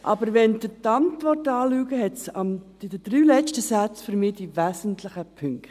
Aber wenn Sie die Antwort anschauen, stehen in den letzten drei Sätzen die wesentlichen Punkte.